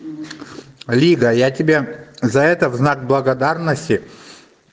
лига я тебя за это в знак благодарности